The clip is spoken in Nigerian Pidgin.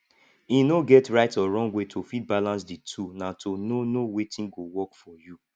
e no get right or wrong way to fit balance di two na to know know wetin go work for you